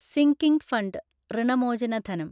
sinking fund ഋണമോചന ധനം